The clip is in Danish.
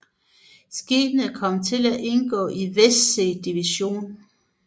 Skibet kom til at indgå i Westsee Division